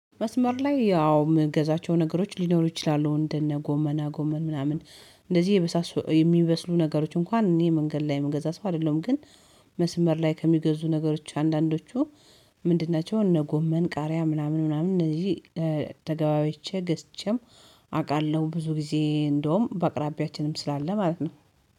መስመር ላይ ያው የምገዛቸው ነገሮች ሊኖሩ ይችላሉ እንደነ ጎመና ጎመን ምናምን እንደዚህ የመሳሰሉ የሚበስሉ ነገሮች እንኳን እኔ መንገድ ላይ የምገዛ ሰው አይደለሁም። ግን መስመር ላይ ከሚገዙ ነገሮች አንዳንዶቹ ምንድን ናቸው? እነ ጎመን ቃሪያ ምናምን ምናምን እነዚህ ተገባያይቼ ገዝቼም አውቃለሁ። ብዙ ጊዜ እንደውም በአቅራቢያችንም ስላለ ማለት ነው።